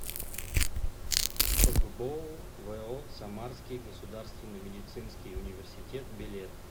фгбоу во самарский государственный медицинский университет билет